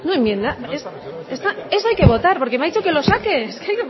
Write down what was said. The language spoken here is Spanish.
enmienda eso hay que votar porque me ha dicho que lo saque que